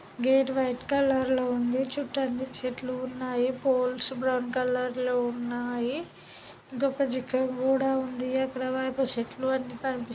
Gate white colour లో ఉంది. చుట్టు అన్ని చెట్లు ఉన్నాయి. పోల్స్ బ్రౌన్ కలర్ లో ఉన్నాయి. అటువైపు చెట్లు అని కనిపి--